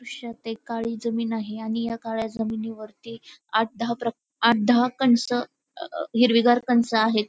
दृश्यात एक काळी जमीन आहे आणि या काळ्या जमिनीवरती आठ दहा प्रकार आठ दहा कणस अ हिरवीगार कणस आहेत.